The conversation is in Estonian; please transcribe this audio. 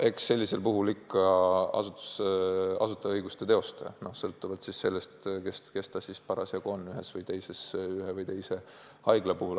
Eks seda teeb ikka asutajaõiguste teostaja, sõltuvalt sellest, kes ta parasjagu ühes või teises haiglas on.